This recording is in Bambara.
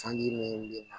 Sanji min na